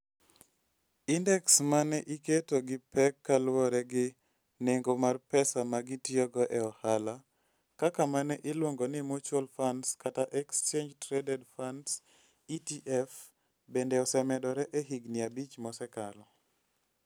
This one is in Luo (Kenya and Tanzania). Indeks ma ne iketo gi pek kaluwore gi nengo mar pesa ma gitiyogo e ohala - kaka ma ne iluongo ni mutual funds kata exchange-traded funds (ETF) - bende osemedore e higini abich mosekalo.